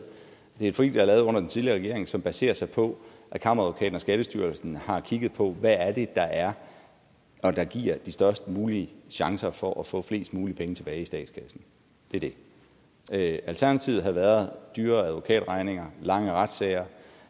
det er et forlig der er lavet under den tidligere regering som baserer sig på at kammeradvokaten og skattestyrelsen har kigget på hvad det er er der giver de størst mulige chancer for at få flest muligt penge tilbage i statskassen det det er det alternativet havde været dyre advokatregninger lange retssager